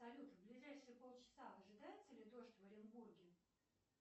салют в ближайшие полчаса ожидается ли дождь в оренбурге